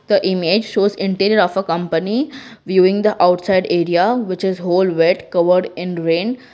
the image shows interior of a company viewing the outside area which is whole wet covered in rain.